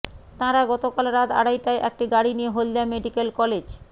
তাঁরা গতকাল রাত আড়াইটায় একটি গাড়ি নিয়ে হলদিয়া মেডিক্যাল কলেজ